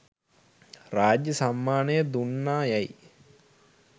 රාජ්‍ය සම්මානය දුන්නා යැයි